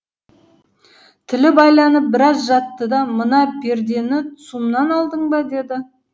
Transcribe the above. тілі байланып біраз жатты да мына пердені цум нан алдың ба деді